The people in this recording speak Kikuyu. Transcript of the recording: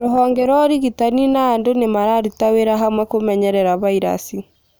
Rũhonge rwa ũrigitani na andũ nĩmararuta wĩra hamwe kũmenyerera vairasi